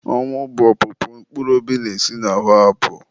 Ọnwụ bụ opụpụ mkpụrụ obi na-esi n'ahụ apụ.